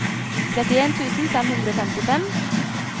trettien tusen fem hundre og femtifem